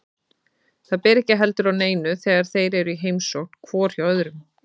Það ber ekki heldur á neinu þegar þeir eru í heimsókn hvor hjá öðrum.